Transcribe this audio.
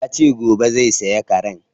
Yace gobe zai saya karen